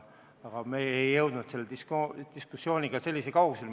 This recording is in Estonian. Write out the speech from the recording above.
Aga me ei jõudnud selle diskussiooniga sellisele kaugusele.